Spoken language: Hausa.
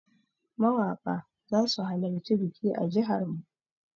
Mawaƙa zasu halarci biki a jihar mu.